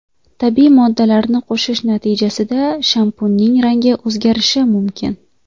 Tabiiy moddalarni qo‘shish natijasida shampunning rangi o‘zgarishi mumkin.